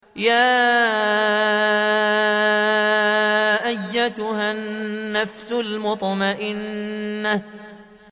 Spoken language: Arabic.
يَا أَيَّتُهَا النَّفْسُ الْمُطْمَئِنَّةُ